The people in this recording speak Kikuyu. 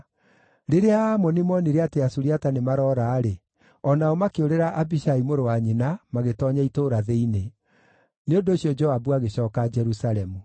Rĩrĩa Aamoni moonire atĩ Asuriata nĩmaroora-rĩ, o nao makĩũrĩra Abishai mũrũ wa nyina magĩtoonya itũũra thĩinĩ. Nĩ ũndũ ũcio Joabu agĩcooka Jerusalemu.